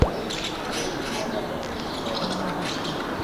шалун поставь